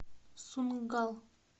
сунггал